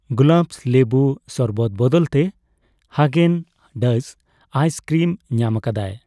ᱜᱩᱞᱟᱵᱥ ᱞᱮᱵᱩ ᱥᱚᱨᱵᱚᱛ ᱵᱚᱫᱚᱞ ᱛᱮ ᱦᱟᱜᱮᱱᱼᱰᱟᱡᱥ ᱟᱭᱤᱥ ᱠᱨᱤᱢ ᱧᱟᱢᱟᱠᱟᱫᱟ